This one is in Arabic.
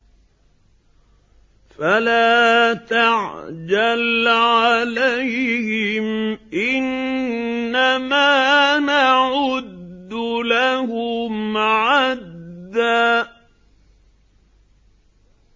فَلَا تَعْجَلْ عَلَيْهِمْ ۖ إِنَّمَا نَعُدُّ لَهُمْ عَدًّا